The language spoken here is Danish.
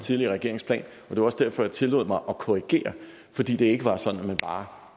tidligere regerings plan det var også derfor at jeg tillod mig at korrigere fordi det ikke var sådan at man bare